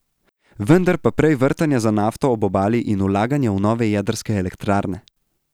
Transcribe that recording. Vendar pa prej vrtanje za nafto ob obali in vlaganje v nove jedrske elektrarne.